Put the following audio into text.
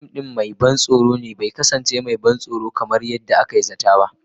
Fim ɗin mai ban tsoro bai kasance mai ban tsoro kamar yadda na zata ba.